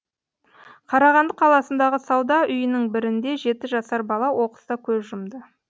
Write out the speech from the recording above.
қарағанды қаласындағы сауда үйінің бірінде жеті жасар бала оқыста көз жұмды